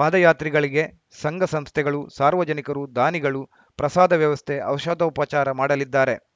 ಪಾದಯಾತ್ರಿಗಳಿಗೆ ಸಂಘಸಂಸ್ಥೆಗಳು ಸಾರ್ವಜನಿಕರು ದಾನಿಗಳು ಪ್ರಸಾದ ವ್ಯವಸ್ಥೆ ಔಷಧೋಪಚಾರ ಮಾಡಲಿದ್ದಾರೆ